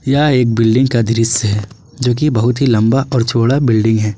यह एक बिल्डिंग का दृश्य है जोकि बहुत ही लंबा और चौड़ा बिल्डिंग है।